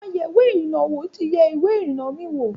Àwọn ayèwé-ìrìnà -wò ti yẹ ìwé ìrìnnà mi wo.